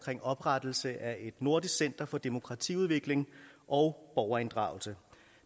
oprettelse af et nordisk center for demokratiudvikling og borgerinddragelse